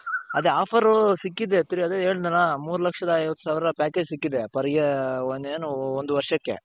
ಅದೇ offer ಸಿಕ್ಕಿದೆ ತಿರ್ಗ ಅದೇ ಹೇಳುದ್ನಲ್ಲ ಮೂರು ಲಕ್ಷದ ಐವತ್ತು ಸಾವಿರ package ಸಿಕ್ಕಿದೆ per year ಒಂದ್ ಏನು ಒಂದು ವರ್ಷಕ್ಕೆ.